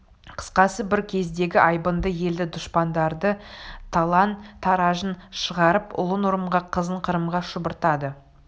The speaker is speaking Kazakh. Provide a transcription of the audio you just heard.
қысқасы бір кездегі айбынды елді дұшпандары талан-таражын шығарып ұлын ұрымға қызын қырымға шұбыртады